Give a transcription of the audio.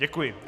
Děkuji.